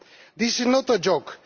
This is not a joke.